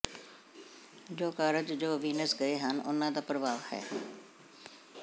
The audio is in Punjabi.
ਜੋ ਕਾਰਜ ਜੋ ਵੀਨਸ ਗਏ ਹਨ ਉਨ੍ਹਾਂ ਦਾ ਪ੍ਰਭਾਵ ਹੈ